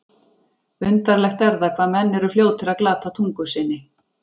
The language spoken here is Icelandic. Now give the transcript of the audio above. Undarlegt er það, hvað menn eru fljótir að glata tungu sinni.